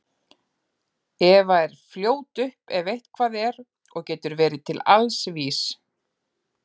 Eva er fljót upp ef eitthvað er og getur verið til alls vís.